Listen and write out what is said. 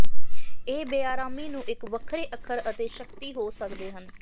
ਇਹ ਬੇਆਰਾਮੀ ਨੂੰ ਇੱਕ ਵੱਖਰੇ ਅੱਖਰ ਅਤੇ ਸ਼ਕਤੀ ਹੋ ਸਕਦੇ ਹਨ